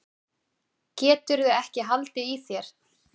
Geturðu ekki haldið í þér?